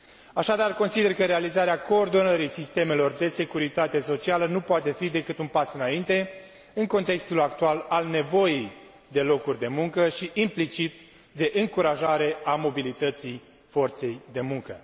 Așadar, consider că realizarea coordonării sistemelor de securitate socială nu poate fi decât un pas înainte, în contextul actual al nevoii de locuri de muncă și, implicit, de încurajare a mobilității forței de muncă.